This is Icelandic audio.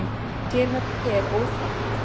Sérherbergi er óþekkt.